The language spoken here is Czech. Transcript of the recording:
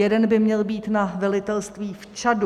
Jeden by měl být na velitelství v Čadu.